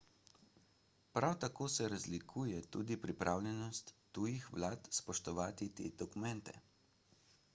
prav tako se razlikuje tudi pripravljenost tujih vlad spoštovati te dokumente